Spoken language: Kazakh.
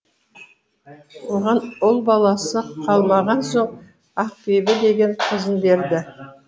оған ұл баласы қалмаған соң ақбибі деген қызын берді